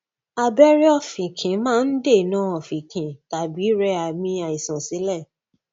abẹrẹ ọfìnkì máa ń dènà ọfìnkì tàbí rẹ àmì àìsàn sílẹ